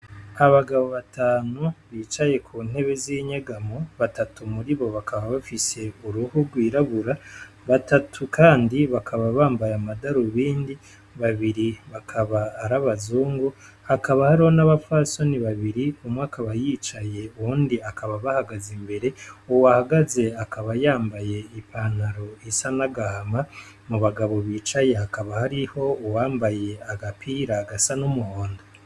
Abagabo batanu bicaye ku ntebe z'inyegamo batatu muri bo bakaba bafise uruhu rwirabura batatu kandi bakaba bambaye amadarubindi babiri bakaba arabazungu hakaba ahariho n'abapfasoni babiri umwe akaba yicaye uwundi akaba abahagaze imbere uwahagaze, akaba yambaye ipantaro isa nagahama mu bagabo bicaye hakaba hariho uwambaye agapira gasa n'umuhondo.